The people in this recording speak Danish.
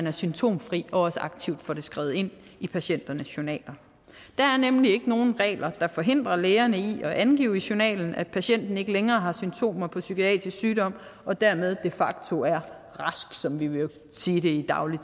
er symptomfri og også aktivt får det skrevet ind i patienternes journaler der er nemlig ikke nogen regler der forhindrer lægerne i at angive i journalen at patienten ikke længere har symptomer på psykiatrisk sygdom og dermed de facto er rask som vi ville sige det i daglig